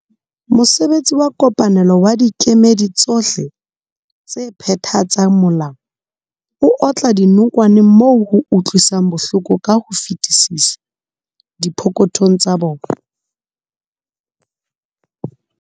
Mosebetsi wa kopanelo wa dikemedi tsohle tse phethatsang molao o otla dinokwane moo ho utlwisang bohloko ka ho fetisisa, dipokothong tsa bona.